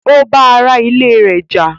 Ó bá ara ilé rẹ̀ jà